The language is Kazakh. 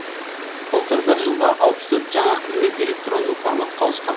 былтыр бір жылда алпыс төрт жаңа қызмет электронды форматқа ауысқан